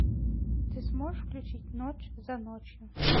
ты сможешь включить ночь за ночью